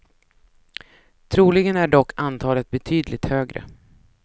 Troligen är dock antalet betydligt högre.